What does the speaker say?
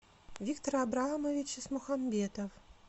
виктор абрамович исмухамбетов